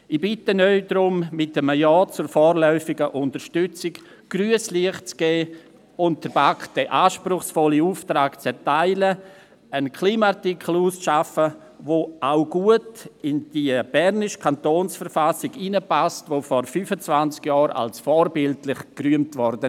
Ich bitte Sie darum, mit einem Ja zur vorläufigen Unterstützung grünes Licht zu geben, und der BaK den anspruchsvollen Auftrag zu erteilen, einen Klimaartikel auszuarbeiten, der auch gut in die bernische Kantonsverfassung hineinpasst, die vor 25 Jahren als vorbildlich gerühmt wurde.